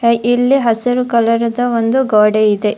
ಇಲ್ಲಿ ಹಸಿರು ಕಲರ್ ದ್ ಒಂದು ಗೋಡೆ ಇದೆ.